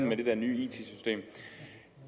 med det der nye it system